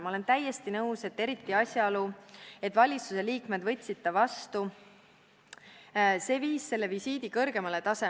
Ma olen täiesti nõus, et eriti asjaolu, et valituse liikmed võtsid ta vastu - see viis selle visiidi kõrgemale tasemele.